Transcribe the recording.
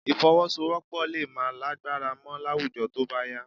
Ìfọwọ́sowọ́́pọ̀ lè má lágbára mọ́ láwùjọ tó bá yá